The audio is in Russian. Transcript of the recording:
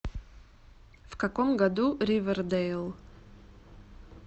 в каком году ривердейл